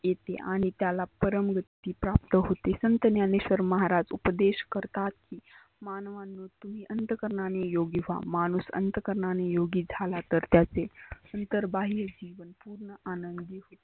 येते आणि त्याला परम सिद्धी प्राप्त होते. संत ज्ञनेश्वर महाराज उपदेश करतात की मानवांनो तुम्ही अंतःकरणानी योगी झाला तर त्याचे अंतर बाह्य जिवन पुर्ण आनंदी